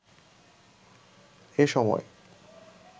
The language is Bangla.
এ সময়